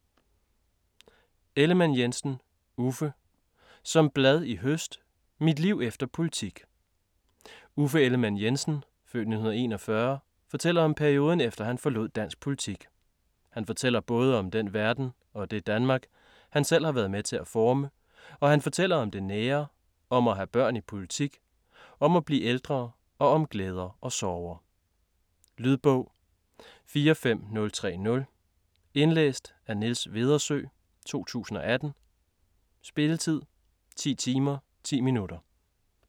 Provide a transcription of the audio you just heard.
Ellemann-Jensen, Uffe: Som blad i høst: mit liv efter politik Uffe Ellemann-Jensen (f. 1941) fortæller om perioden efter han forlod dansk politik. Han fortæller både om den verden - og det Danmark - han selv har været med til at forme, og han fortæller om det nære, om at have børn i politik, om at blive ældre og om glæder og sorger. Lydbog 45030 Indlæst af Niels Vedersø, 2018. Spilletid: 10 timer, 10 minutter.